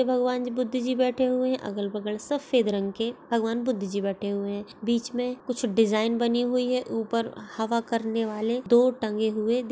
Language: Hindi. भगवान जी बुद्ध जी बैठे हुए है अगल-बगल सफ़ेद रंग के भगवान बुद्ध जी बैठे हुए है बीच मे कुछ डिज़ाइन बनी हुई है ऊपर हवा करने वाले दोन टंगे हुए दि--